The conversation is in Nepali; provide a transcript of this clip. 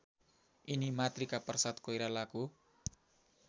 यिनी मातृकाप्रसाद कोइरालाको